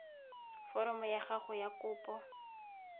foromo ya gago ya kopo